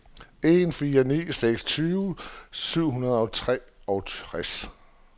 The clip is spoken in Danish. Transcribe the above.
en fire ni seks tyve syv hundrede og treogtres